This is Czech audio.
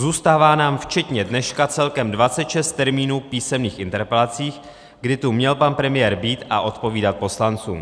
Zůstává nám včetně dneška celkem 26 termínů písemných interpelací, kdy tu měl pan premiér být a odpovídat poslancům.